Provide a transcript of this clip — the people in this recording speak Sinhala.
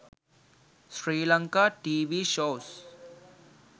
sri lanka tv shows